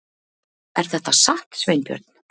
Er þetta satt, Sveinbjörn?